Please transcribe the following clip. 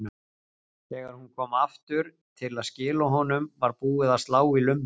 Þegar hún kom aftur til að skila honum var búið að slá í lummur.